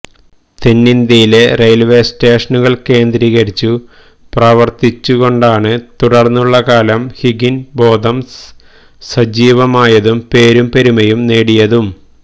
തെന്നിന്ത്യയിലെ railway സ്റ്റേഷനുകൾ കേന്ദ്രീകരിച്ച് പ്രവർത്തിച്ചു കൊണ്ടാണ് തുടർന്നുള്ള കാലം ഹിഗ്ഗിൻബോതംസ് സജീവമായതും പേരും പെരുമയും നേടിയതും